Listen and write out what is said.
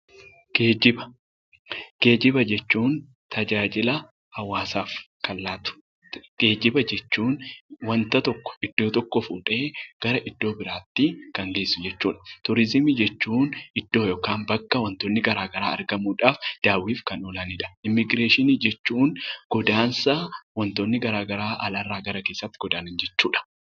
Geejjiba, geejjiba jechuun tajaajila hawaasaf kan laatu ,geejjiba jechuun wanta tokko iddoo tokkoo fuudhee gara iddoo biratti kan geessu jechudha. turisiimi jechuun iddoo yoolan bakka wantoonni garaagaraa argamuudhan daawwiif kan oolanidha. Immigireeshiin jechuun godaansa wantoonni garagaraa alarra gara keessatti godaanan jechudha.